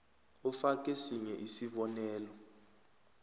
ufake sinye isibonelo